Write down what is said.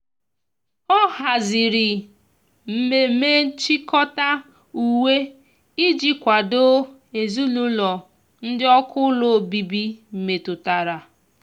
ọ hazịrị mmeme nchikota uwe iji kwado ezinulo ndi ọkụ ụlọ ọbibi metụtara.